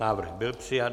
Návrh byl přijat.